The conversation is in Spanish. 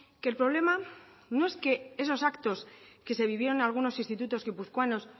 que el problema no es que esos actos que se vivieron en algunos institutos guipuzcoanos